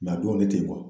a dɔnnen tɛ